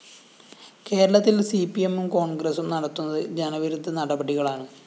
കേരളത്തില്‍ സിപി‌എമ്മും കോണ്‍ഗ്രസും നടത്തുന്നത് ജനവിരുദ്ധ നടപടികളാണ്